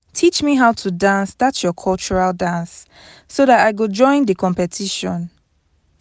teach me how to dance that your cultural dance so that i go join the competition